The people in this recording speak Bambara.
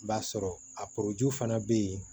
I b'a sɔrɔ a fana bɛ yen